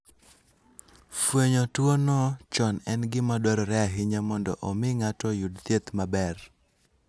Fwenyo tuwono chon en gima dwarore ahinya mondo omi ng'ato oyud thieth maber.